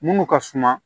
Munnu ka suma